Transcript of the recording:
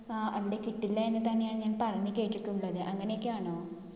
ആഹ് അവിടെ കിട്ടില്ല എന്ന് തന്നെയാ ഞാൻ പറഞ്ഞു കേട്ടിട്ടുള്ളത്. അങ്ങിനെയൊക്കെയാണോ?